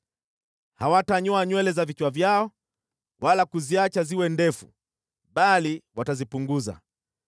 “ ‘Hawatanyoa nywele za vichwa vyao wala kuziacha ziwe ndefu, bali watazipunguza.